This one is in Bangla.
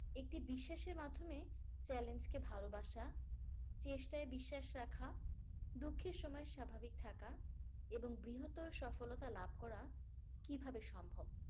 একটি বিশ্বাসের মাধ্যমে challenge কে ভালোবাসা চেষ্টায় বিশ্বাস রাখা দুঃখের সময়সভাবিক টাকা এবং বৃহত্তর সফলতা লাভ করা কিভাবে সম্ভব?